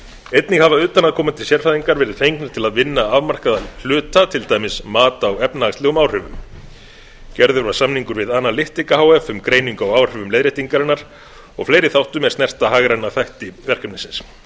einnig hafa utan að komandi sérfræðingar verið fengnir til að vinna afmarkaða hluta til dæmis mat á efnahagslegum áhrifum gerður var samningur við analyticu e h f um greiningu á áhrifum leiðréttingarinnar og fleiri þáttum er snerta hagræna þætti verkefnisins